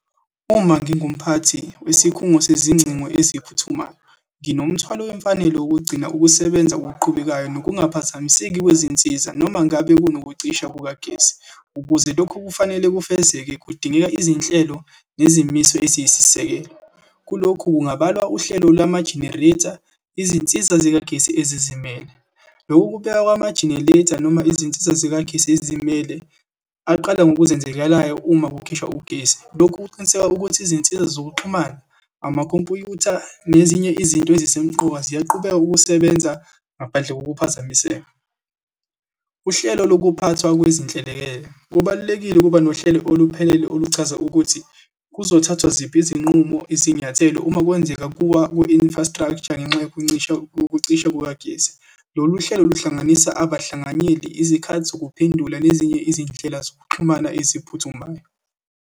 Uma ngingumphathi wesikhungo sezingcingo eziphuthumayo, nginomthwalo wemfanelo wokugcina ukusebenza okuqhubekayo, nokungaphazamiseki kwezinsiza, noma ngabe kunokucisha kukagesi. Ukuze lokhu kufanele kufezeke, kudingeka izinhlelo nezimiso eziyisisekelo. Kulokhu kungabalwa uhlelo lwama-generator, izinsiza zikagesi ezizimele. Lokhu kubekwa kwamageneleytha, noma izinsiza zikagesi ezizimele aqala ngokuzenzekelayo uma kukhishwa ugesi. Lokhu kuqiniseka ukuthi izinsiza zokuxhumana, amakhompyutha nezinye izinto ezisemqoka ziyaqhubeka ukusebenza ngaphandle kokuphazamiseka. Uhlelo lokuphathwa kwezinhlelekele, kubalulekile ukuba nohlelo oluphelele oluchaza ukuthi kuzothathwa ziphi izinqumo, izinyathelo, uma kwenzeka kuwa ku-infrastructure ngenxa yokuncisha, ukucisha kukagesi. Lolu uhlelo luhlanganisa abahlanganyeli, izikhathi zokuphendula nezinye izindlela zokuxhumana eziphuthumayo.